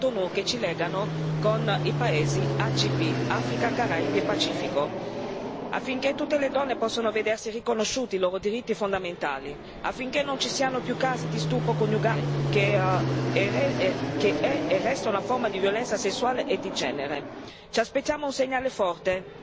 anche per quelli che sono gli accordi di Cotonou che ci legano con i paesi ACP Africa, Caraibi e Pacifico affinché tutte le donne possano vedersi riconosciuti i loro diritti fondamentali, affinché non ci siano più casi di stupro coniugale, che è e resta una forma di violenza sessuale e di genere.